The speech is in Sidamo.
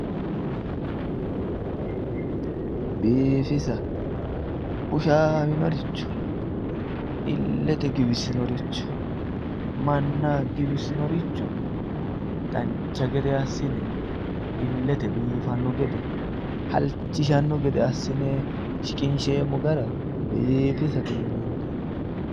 Biiffisa, bushanoricho ilete giwisinoricho, manna giwisinoricho dancha gede assine ilete biiffano gede halchishano gede assine shiqinsheemmo gara biiffisate yinneemmo.